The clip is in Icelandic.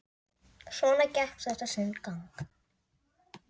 Svona gekk þetta sinn gang.